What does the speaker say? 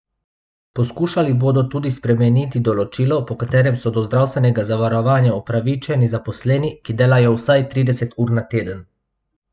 Poskušali bodo tudi spremeniti določilo, po katerem so do zdravstvenega zavarovanja upravičeni zaposleni, ki delajo vsaj trideset ur na teden.